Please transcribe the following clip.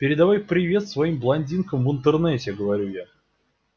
передавай привет своим блондинкам в интернете говорю я